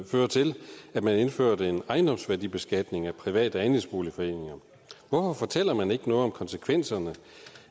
føre til at man indførte en ejendomsværdibeskatning af private andelsboligforeninger hvorfor fortæller man ikke noget om konsekvenserne